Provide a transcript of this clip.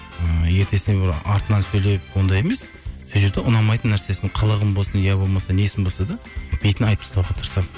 ыыы ертесіне бір артынан сөйлеп ондай емес сол жерде ұнамайтын нәрсесін қылығын болсын иә болмаса несін болса да бетіне айтып тастауға тырысамын